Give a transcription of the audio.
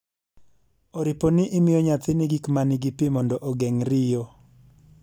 oripo ni imiyo nyathini gik ma nigi pi mondo ogeng' riyo